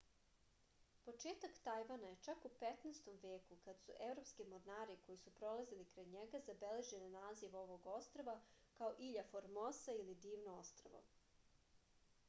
početak tajvana je čak u 15. veku kada su evropski mornari koji su prolazili kraj njega zabeležili naziv ovog ostrva kao ilja formosa ili divno ostrvo